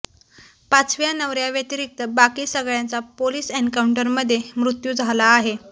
पाचव्या नवऱ्याव्यतिरिक्त बाकी सगळ्यांचा पोलीस एन्काऊंटरमध्ये मृत्यू झाला आहे